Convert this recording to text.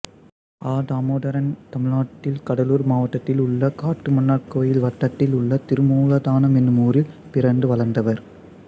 அ தாமோதரன் தமிழ்நாடு கடலூர் மாவட்டத்தில் உள்ள காட்டுமன்னார்கோயில் வட்டத்தில் உள்ள திருமூலத்தானம் என்னும் ஊரில் பிறந்து வளர்ந்தவர்